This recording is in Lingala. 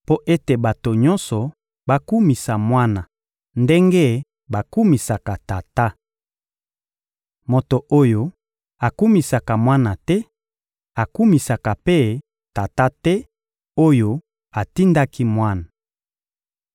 mpo ete bato nyonso bakumisa Mwana ndenge bakumisaka Tata. Moto oyo akumisaka Mwana te akumisaka mpe Tata te oyo atindaki Mwana.